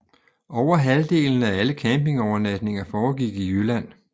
Over halvdelen af alle campingovernatninger foregik i Jylland